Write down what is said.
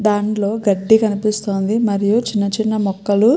దాంట్లో గడ్డి కనిపిస్తుంది. మరియు చిన్న చిన్న మొక్కలు --